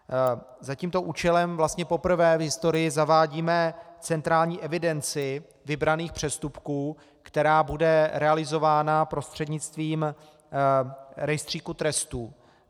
Za tímto účelem vlastně poprvé v historii zavádíme centrální evidenci vybraných přestupků, která bude realizována prostřednictvím rejstříku trestů.